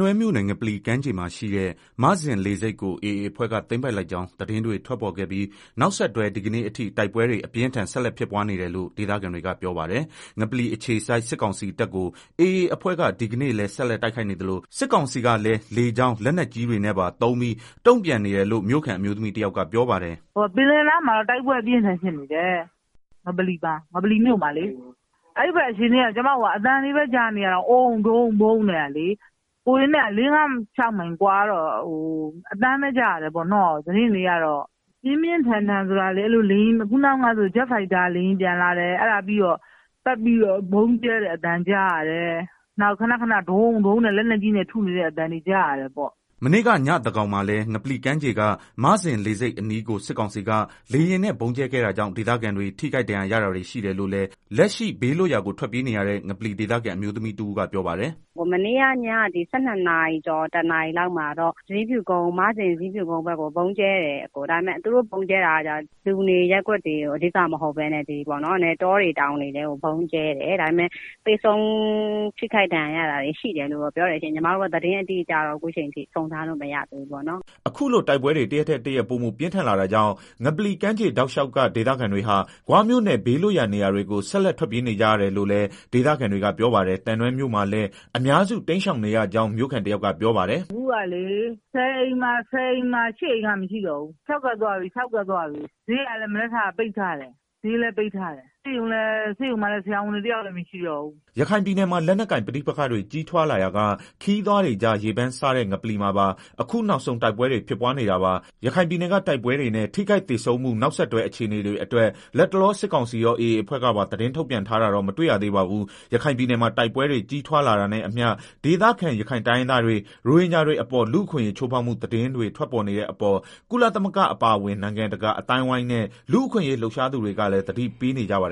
တွဲမြို့နယ် ငပလီကမ်းမှာရှိတဲ့ မဇင်လေဆိပ်ကို AA အဖွဲ့က သိမ်းပိုက်လိုက်ကြောင်း သတင်းတွေ ထွက်ပေါ်ခဲ့ပြီး နောက်ဆက်တွဲ ဒီကနေ့အထိ တိုက်ပွဲတွေ အပြင်းအထန် ဆက်လက် ဖြစ်ပွားနေတယ်လို့ ဒေသခံတွေက ပြောပါတယ်။ ငပလီအခြေစိုက် စစ်ကောင်စီတပ်ကို AA အဖွဲ့က ဒီကနေ့လည်း ဆက်လက် တိုက်ခိုက်နေသလို စစ်ကောင်စီကလည်း လေကြောင်း၊ လက်နက်ကြီးတွေနဲ့ပါသုံးပြီး တုံ့ပြန်နေတယ်လို့ မြို့ခံအမျိုးသမီး တယောက်ကပြောပါတယ်။ “ ပင်လယ်နားမှာတော့ တိုက်ပွဲ အပြင်းအထန်ဖြစ်နေတယ် ငပလီနားမှာလေ အဲဘက်အခြေ အနေက ကျမတို့က အသံတွေပဲ ကြားနေရတယ်၊ အုန်း ဒုန်း ဗုန်းနဲ့ ကိုယ်တွေနဲ့ လေးငါး ခြောက်မိုင်လောက်ကွာတော့ အသံပဲကြားရတာ။ ပြင်းပြင်းထန်ထန်ဆိုတာလေ ခုနားကဆိုရင် ဂျက်ဖိုက်တာ လေယာဉ်ပျံလာတယ် ပြီးတော့ ပတ်ပြီးတော့ ဗုံးကြဲတဲ့ အသံကြားရတယ်၊ နောက် ခဏခဏး ဒုန်း ဒုန်း နဲ့ လက်နက်ကြီးနဲ့ ထုနေတဲ့ အသံတွေ ကြားရတယ်ပေါ့။” မနေ့ကညသန်းခေါင်းမှာလည်း ငပလီကမ်းခြေက မဇင်လေဆိပ်အနီးကို စစ်ကောင်စီက လေယာဉ် နဲ့ဗုံးကြဲခဲ့တာကြောင့် ဒေသခံတွေ ထိခိုက်ဒဏ်ရာရတာတွေရှိတယ်လို့ လည်း လက်ရှိဘေး လွတ်ရာကို ထွက်ပြေးနေရတဲ့ ငပလီဒေသခံ အမျိုးသမီးတဦးကပြောပါတယ်။ “ မနေ့ကည ၁၂နာရီကျော် ၁နာရီလောက်မှာတော့ ဇီးဖြူကုန်း မဇင်ဘက်ကို ဗုံးကြဲတယ် လို့ကြားတယ်။ ဒါပေမယ့် သူတို့ဗုံးကြဲတာက လူနေရပ်ကွက်တွေကို အဓိကမဟုတ်ပဲနဲ့ တောတွေတောင်တွေကို ကြဲတာ ဒါပေမယ့် သေဆုံးထိခိုက်ဒဏ်ရာ တာတွေလည်းရှိတယ် လို့ကြားတယ်၊သတင်းအတိအကျတော့ အခုထိ စုံစမ်းလို့မရသေးဘူးပေါ့နော်။ ” အခုလို တိုက်ပွဲတွေ တရက်ထက်တရက်ပိုမိုပြင်းထန်လာတာကြောင့် ငပလီကမ်းခြေ တောက်လျှောက်က ဒေသခံတွေဟာ ဂွမြို့နယ် ဘေးလွတ်ရာနေရာတွေကို ဆက်လက် ထွက်ပြေးနေကြရတယ်လို့လည်း ဒေသခံတွေက ပြောပါတယ်။ သံတွဲမြို့မှာလည်း အများစု တိမ်းရှောင်နေကြောင်း မြို့ခံတယောက်ကပြောပါတယ်။ေ “ အခုကလေမြို့ပေါ်မှာ ဆယ်အိမ်မှာ ၈ အိမ်က လူမရှိတော့ဘူး၊ တမြို့လုံးခြောက်ကပ် နေတယ်။ဈေးကလည်း ဒီနေ့မနက်က ပိတ်လိုက်ပြီ၊ ဈေးလည်းပိတ်ထားတယ် ဆေးရုံမှာ လည်း ဆရာဝန်တွေ တယောက်မှ မရှိတော့ဘူး။” ရခိုင်ပြည်နယ်မှာ လက်နက်ကိုင် ပဋိပက္ခတွေ ကြီးထွားလာရာက ခရီးသွားတွေကြား ရေပမ်းစားတဲ့ ငပလီမှာပါ အခုနောက်ဆုံး တိုက်ပွဲတွေ ဖြစ်ပွားနေတာပါ။ ရခိုင်ပြည်နယ်က တိုက်ပွဲတွေနဲ့ ထိခိုက်သေဆုံးမှု နောက်အခြေအနေတွေအတွက် လတ်တလော စစ်ကောင်စီရော၊ AA အဖွဲ့ကပါ သတင်းထုတ်ပြန်တာတော့ မတွေ့ရသေးပါဘူး။ ရခိုင်ပြည်နယ်မှာ တိုက်ပွဲတွေ ကြီးထွားလာတာနဲ့အမျှ ဒေသခံရခိုင်တိုင်းရင်းသားတွေ၊ ရိုဟင်ဂျာတွေအပေါ် လူ့အခွင့်အရေး ချိုးဖောက်မှု သတင်းတွေ ထွက်ပေါ်နေတဲ့အပေါ် ကုလသမဂ္ဂ အပါအဝင် နိုင်ငံတကာ အသိုင်းအဝိုင်းနဲ့ လူ့အခွင့်အရေး လှုပ်ရှားသူတွေကလည်း သတိပေးနေကြပါ